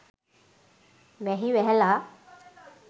වැහි වැහැල